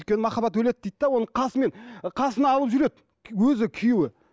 өйткені махаббат өледі дейді де оны қасымен қасына алып жүреді өзі күйеуі